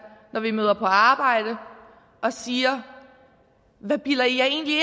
når vi møder på arbejde og siger hvad bilder i jer egentlig